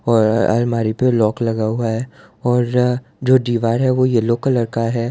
और अलमारी पे लॉक लगा हुआ है और जो दीवार है वो येलो कलर का है।